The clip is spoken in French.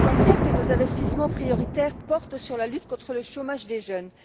Il est essentiel que nos investissements portent en priorité sur la lutte contre le chômage des jeunes.